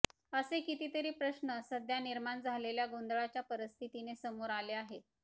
असे कितीतरी प्रश्न सध्या निर्माण झालेल्या गोंदळाच्या परिस्थितीने समोर आले आहेत